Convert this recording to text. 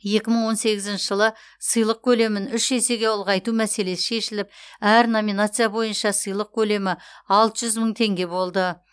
екі мың он сегізінші жылы сыйлық көлемін үш есеге ұлғайту мәселесі шешіліп әр номинация бойынша сыйлық көлемі алты жүз мың теңге болды